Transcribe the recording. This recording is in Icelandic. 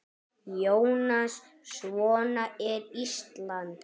Jónas: Svona er Ísland?